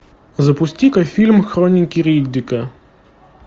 запусти ка фильм хроники риддика